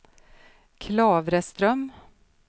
Klavreström